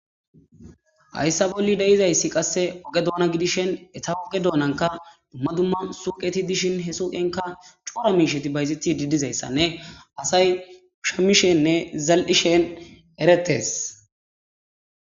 Hayssa bolli de7izayssi qasse oge doona gidishen eta oge doonanka dumma dumma suqeti dishin he suqenka cuura miisheti bayzeti didizayssanne asay shamishenne zal7ishen eretes.